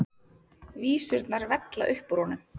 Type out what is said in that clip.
Vísurnar vella upp úr honum.